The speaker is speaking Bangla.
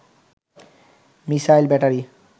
missile battery